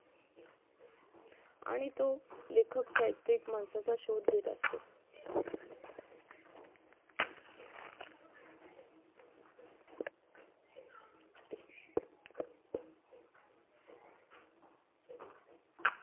आणि तो लेखक साहित्यिक माणसाचा शोध घेत असतो